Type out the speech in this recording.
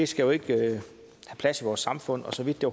skal jo ikke have plads i vores samfund og så vidt det